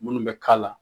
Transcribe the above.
Minnu bɛ k'a la